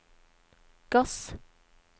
gass